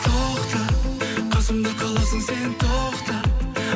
тоқта қасымда қаласың сен тоқта